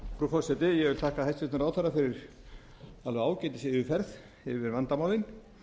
ég vil þakka hæstvirtum ráðherra fyrir ágætisyfirferð yfir vandamálin